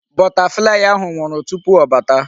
Butterfly ahụ nwụrụ tupu ọ bata.